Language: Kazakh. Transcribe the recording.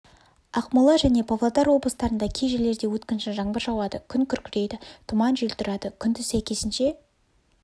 ақмола және павлодар облыстарында кей жерлерде өткінші жаңбыр жауады күн күркірейді тұман жел тұрады күндіз сәйкесінше